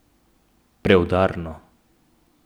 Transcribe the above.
Preudarno.